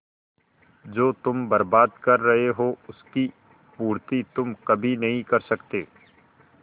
जो तुम बर्बाद कर रहे हो उसकी पूर्ति तुम कभी नहीं कर सकते